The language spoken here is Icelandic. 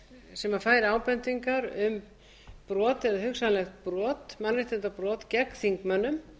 sem fær ábendingar um brot eða hugsanleg mannréttindabrot gegn þingmönnum